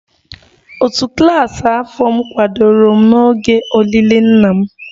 Òtù klas afọ m kwadoro m n'oge olili nna m